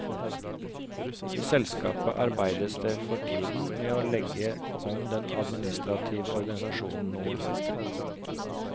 I selskapet arbeides det for tiden med å legge om den administrative organisasjonen noe.